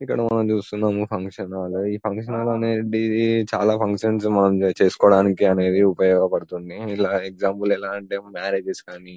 ఇక్కడ మనము చూస్తున్నాము ఫంక్షన్ హాల్ ఫంక్షన్ హాల్లో అనేది చాలా ఫంక్షన్స్ మనము చేసుకోవడానికి అనేది ఉపయోగపడుతుంది ఎగ్జామ్పుల్స్ ఎలా అంటే మ్యారేజ్ కానీ